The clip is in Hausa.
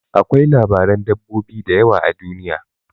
Akwai labaran dabbobi da yawa a duniya.